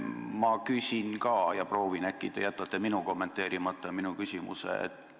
Ma nüüd proovin, äkki te jätate minu ja minu küsimuse kommenteerimata.